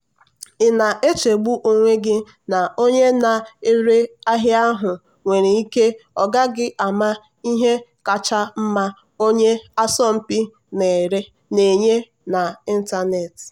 ị na-echegbu onwe gị na onye na-ere ahịa ahụ nwere ike ọ gaghị ama ihe kacha mma onye asọmpi na-enye n'ịntanetị.